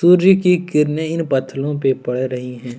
सूर्य की किरणें इन पत्थलो पर पड़ रही हैं।